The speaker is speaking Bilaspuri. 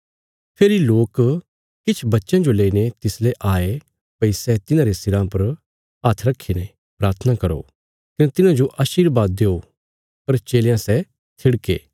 फेरी लोक किछ बच्चयां जो लेईने तिसले आये भई सै तिन्हारे सिरा पर हात्थ रखीने प्राथना करो कने तिन्हांजो आशीरबाद देओ पर चेलयां सै थिड़के